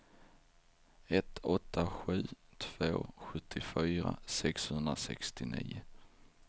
ett åtta sju två sjuttiofyra sexhundrasextionio